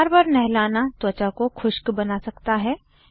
बार बार नहलाना त्वचा को खुष्क बना सकता है